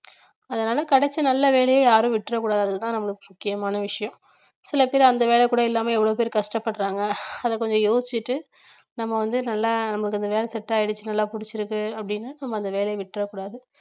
அதனாலே கிடைச்ச நல்ல வேலைய யாரும் விட்டுறக் கூடாதுன்றதுதான் நம்மளுக்கு முக்கியமான விஷயம் சில பேர் அந்த வேலை கூட இல்லாம எவ்வளவு பேர் கஷ்டப்படுறாங்க அத கொஞ்சம் யோசிச்சிட்டு நம்ம வந்து நல்லா நமக்கு அந்த வேலை set ஆயிடுச்சு நல்லா புடிச்சிருக்கு அப்படின்னு நம்ம அந்த வேலையை விட்றக்கூடாது